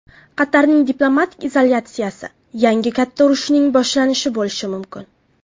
Qatarning diplomatik izolyatsiyasi yangi katta urushning boshlanishi bo‘lishi mumkin.